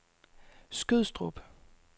Skødstrup